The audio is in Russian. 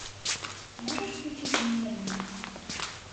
можешь включить мерлин